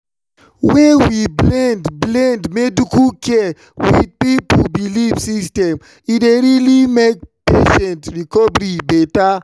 when we blend blend medical care with people belief system e dey really make patient recovery better.